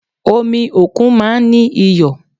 Omi òkun máa ń ní iyọ̀